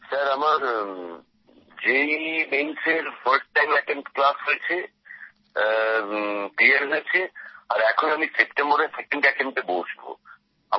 sir আমার JEE মেনএর first time attempt হয়েছে আর এখন আমি সেপ্টেম্বরে সেকেন্ড আটেম্পট এ বসব